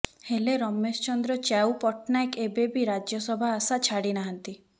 ହେଲେ ରମେଶ ଚନ୍ଦ୍ର ଚ୍ୟାଉ ପଟ୍ଟନାୟକ ଏବେ ବି ରାଜ୍ୟସଭା ଆଶା ଛାଡ଼ିନାହାନ୍ତି